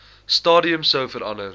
stadium sou verander